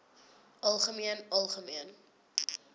algemeen algemeen